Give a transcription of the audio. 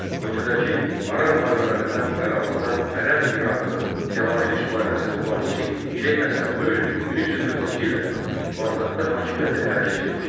Ölkədəki ara müharibələrindən yararlanan Ərəb İraqının Cəlaliri sülaləsinin banisi Şeyx Həsən Böyük 1340-cı ildə Bağdadda hakimiyyəti ələ keçirmişdi.